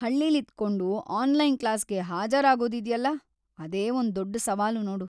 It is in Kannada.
ಹಳ್ಳಿಲಿದ್ಕೊಂಡು ಆನ್ಲೈನ್‌ ಕ್ಲಾಸ್‌ಗೆ ಹಾಜರಾಗೋದಿದ್ಯಲ್ಲ, ಅದೇ ಒಂದ್‌ ದೊಡ್ಡ್‌ ಸವಾಲು ನೋಡು.